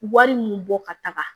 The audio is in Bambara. Wari mun bɔ ka taga